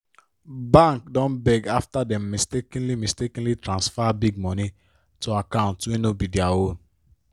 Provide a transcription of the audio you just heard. bank don beg afta dem mistakenly mistakenly transfer big money to account wey no be their own